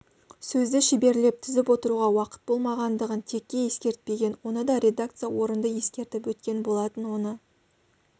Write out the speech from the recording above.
сөзді шеберлеп тізіп отыруға уақыт болмағандығын текке ескертпеген оны да редакция орынды ескертіп өткен болатын оны